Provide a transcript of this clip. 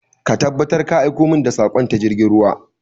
Ka tabbatar ka aiko min da saƙon ta jirgin ruwa!